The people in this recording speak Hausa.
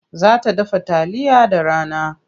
Za ta dafa taliya da rana.